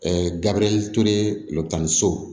gabriel toure ltani so